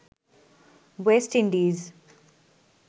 West Indies